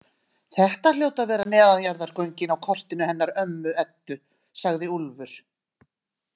Þetta hljóta að vera neðanjarðargöngin á kortinu hennar ömmu Eddu, sagði Úlfur.